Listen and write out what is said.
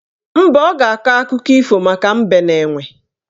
Mba, ọ ga-akọ akụkọ ifo maka Mbe na Enwe